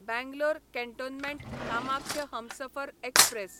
Bangalore cantonment Kamakhya Humsafar express